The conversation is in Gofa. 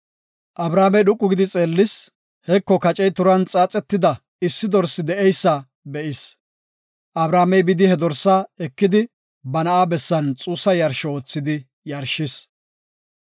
Abrahaamey dhoqu gidi xeellis; heko kacey turan qaxetida issi dorsi de7eysa be7is. Abrahaamey bidi he dorsa ekidi, ba na7a bessan xuussa yarsho oothidi yarshis.